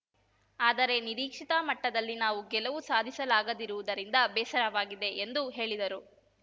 ಆದರೆ ನಿರೀಕ್ಷಿತ ಮಟ್ಟದಲ್ಲಿ ನಾವು ಗೆಲವು ಸಾಧಿಸಲಾಗದಿರುವುದರಿಂದ ಬೇಸರವಾಗಿದೆ ಎಂದು ಹೇಳಿದರು